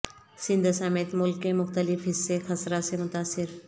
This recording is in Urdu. سندھ سمیت ملک کے مختلف حصے خسرہ سے متاثر